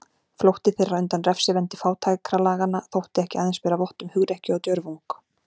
Flótti þeirra undan refsivendi fátækralaganna þótti ekki aðeins bera vott um hugrekki og djörfung.